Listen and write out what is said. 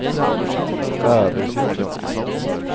Bæverfjord